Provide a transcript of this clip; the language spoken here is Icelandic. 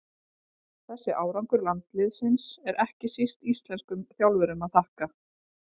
Þessi árangur landsliðsins er ekki síst íslenskum þjálfurum að þakka.